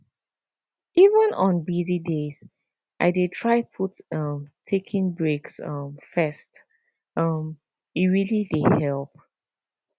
even on busy days i dey try put um taking breaks um first um e really dey help